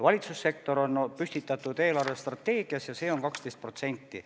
Valitsussektori osakaal on püstitatud eelarvestrateegias ja see on 12%.